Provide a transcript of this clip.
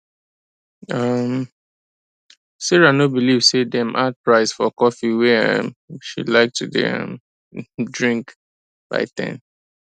um sarah no believe say dem add price for coffee wey um she like to dey um drink by 10